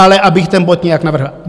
Ale abych ten bod nějak navrhl.